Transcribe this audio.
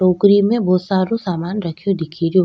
टोकरी में बहुत सारो सामान रखियो दिख रो।